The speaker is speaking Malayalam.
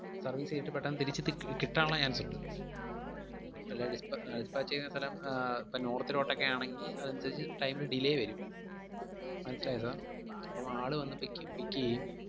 service ചെയ്തിട്ട് പെട്ടന്ന് തിരിച്ച് തി~ കിട്ടാൻ ഒള്ള chance ഒണ്ട് അല്ലാതെ, dispa~ dispatch ചെയ്യുന്ന സ്ഥലം ആഹ് ഇപ്പം north ലോട്ടൊക്കെ ആണെങ്കി അതനുസരിച്ച് time ന് delay വരും. മനസ്സിലായോ sir? അപ്പം ആള് വന്ന് pick pick എയ്യും.